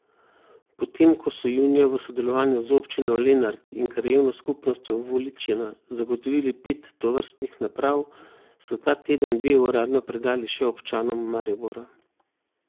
Potem ko so junija v sodelovanju z občino Lenart in krajevno skupnostjo Voličina zagotovili pet tovrstnih naprav, so ta teden dve uradno predali še občanom Maribora.